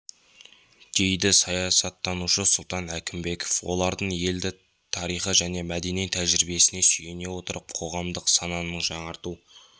дейді саясаттанушы сұлтан әкімбеков олар елдің тарихи және мәдени тәжірибесіне сүйене отырып қоғамдық сананы жаңарту